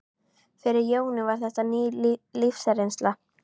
Fyrir Jóni var þetta ný lífsreynsla.